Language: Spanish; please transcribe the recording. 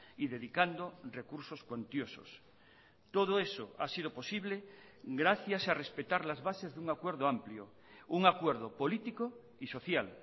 y dedicando recursos cuantiosos todo eso ha sido posible gracias a respetar las bases de un acuerdo amplio un acuerdo político y social